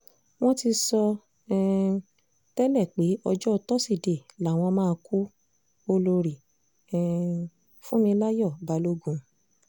wọ́n ti sọ um tẹ́lẹ̀ pé ọjọ́ tọ́sídẹ̀ẹ́ làwọn máa kú- olórí um fúnmiláyọ balógun